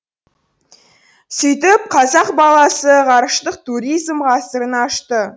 сөйтіп қазақ баласы ғарыштық туризм ғасырын ашты